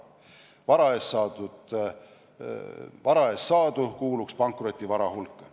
Vara eest saadu kuuluks pankrotivara hulka.